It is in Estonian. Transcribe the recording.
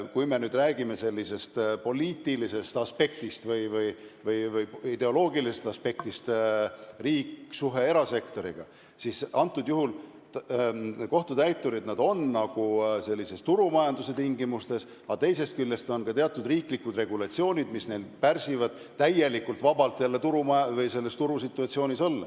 Kui me räägime poliitilisest või ideoloogilisest aspektist, riigi suhtest erasektoriga, siis kohtutäiturid on nagu turumajanduse tingimustes, aga teisest küljest on teatud riiklikud regulatsioonid, mis pärsivad nende võimalust vabalt turusituatsioonis olla.